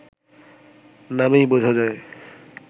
নামেই বোঝা যায়